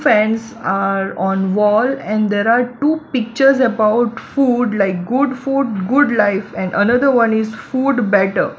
fans are on wall and there are two pictures about food like good food good lights and another one is food better.